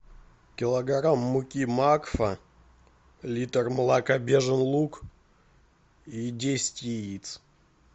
килограмм муки макфа литр молока бежин луг и десять яиц